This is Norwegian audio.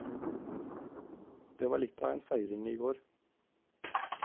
Det var litt av en feiring i går.